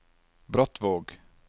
Brattvåg